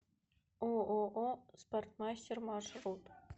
ооо спортмастер маршрут